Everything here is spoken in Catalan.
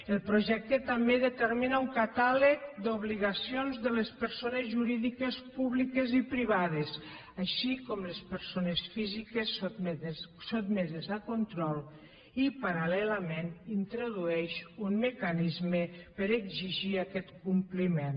el projecte també determina un catàleg d’obligacions de les persones jurídiques públiques i privades així com les persones físiques sotmeses a control i parallelament introdueix un mecanisme per a exigir aquest compliment